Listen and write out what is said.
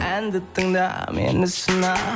әнді тыңда мені сына